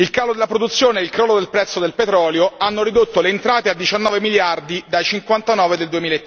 Il calo della produzione e crollo del prezzo del petrolio hanno ridotto le entrate a 19 miliardi dai 59 del